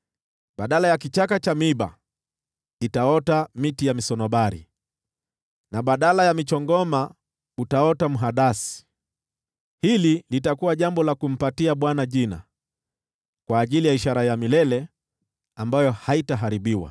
Badala ya kichaka cha miiba itaota miti ya misunobari, na badala ya michongoma utaota mhadasi. Hili litakuwa jambo la kumpatia Bwana jina, kwa ajili ya ishara ya milele, ambayo haitaharibiwa.”